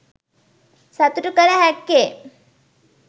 සතුටු කළ හැක්කේ